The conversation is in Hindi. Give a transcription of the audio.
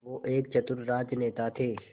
वो एक चतुर राजनेता थे